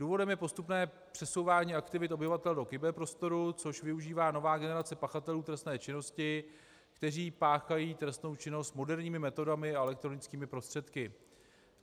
Důvodem je postupné přesouvání aktivit obyvatel do kyberprostoru, což využívá nová generace pachatelů trestné činnosti, kteří páchají trestnou činnost moderními metodami a elektronickými prostředky.